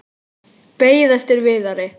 Beið eftir Viðari.